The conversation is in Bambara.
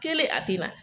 Kelen a tɛ na